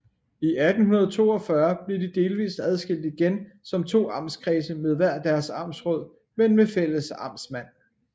I 1842 blev de delvist adskilt igen som to amtskredse med hver deres amtsråd men med fælles amtsmand